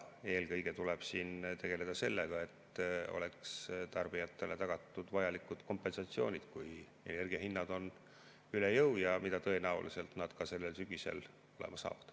Eelkõige tuleb siin tegeleda sellega, et tarbijatele oleks tagatud vajalikud kompensatsioonid, kui energiahinnad on üle jõu, nagu nad tõenäoliselt sellel sügisel ka olema saavad.